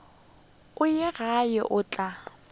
go ye kae o tla